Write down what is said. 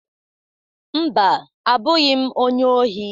Mba, abụghị m onye ohi.